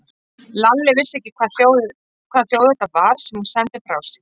Lalli vissi ekki hvaða hljóð þetta var sem hún sendi frá sér.